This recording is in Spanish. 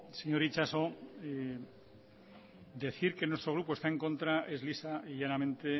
señor itxaso decir que nuestro grupo está en contra es lisa y llanamente